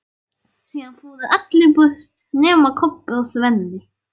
Síðan fóru allir burt nema Kobbi og Svenni.